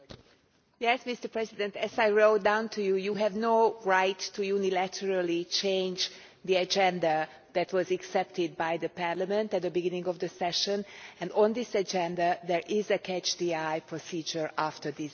Mr President, as I wrote to you, you have no right to unilaterally change the agenda that was accepted by Parliament at the beginning of the session, and on this agenda there is a catch the eye procedure after this debate.